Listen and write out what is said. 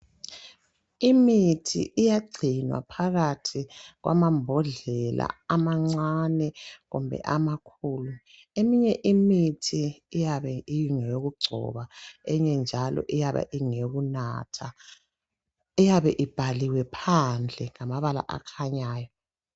Imithi iyagcinwa phakathi kwamambodlela amancane kumbe amakhulu. Eminye imithi iyabe ingeyokugcoba enye njalo ingeyokunatha, iyabe ibhaliwe phandle ngamabala akhanyayo.